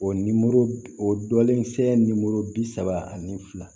O nimoro o dɔlen se bi saba ani fila